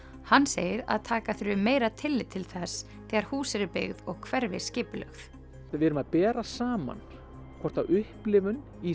hann segir að taka þurfi meira tillit til þess þegar hús eru byggð og hverfi skipulögð við erum að bera saman hvort upplifun í